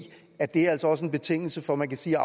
at det altså også er en betingelse for at man kan sige